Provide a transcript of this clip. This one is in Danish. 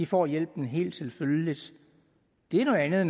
får hjælpen helt selvfølgeligt det er noget andet